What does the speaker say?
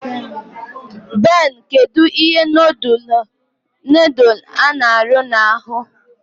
Ben, kedu ihe nodul n'aru na-ahu